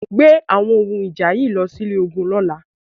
Gbé àwọn ohun ìjà yìí lọ sí ilé ológun lọ́la!